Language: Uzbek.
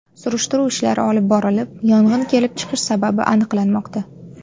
Surishtiruv ishlari olib borilib, yong‘in kelib chiqish sababi aniqlanmoqda.